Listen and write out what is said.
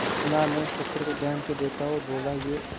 सुनार ने उस पत्थर को ध्यान से देखा और बोला ये